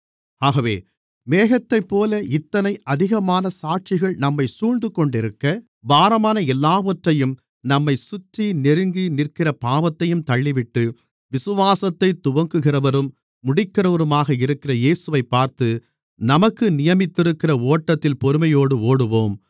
ஆகவே மேகத்தைப்போல இத்தனை அதிகமான சாட்சிகள் நம்மைச் சூழ்ந்துகொண்டிருக்க பாரமான எல்லாவற்றையும் நம்மைச் சுற்றி நெருங்கி நிற்கிற பாவத்தையும் தள்ளிவிட்டு விசுவாசத்தைத் துவக்குகிறவரும் முடிக்கிறவருமாக இருக்கிற இயேசுவைப் பார்த்து நமக்கு நியமித்திருக்கிற ஓட்டத்தில் பொறுமையோடு ஓடுவோம்